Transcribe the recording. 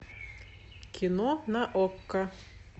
кино на окко